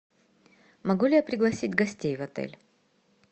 могу ли я пригласить гостей в отель